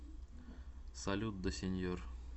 салют да сеньор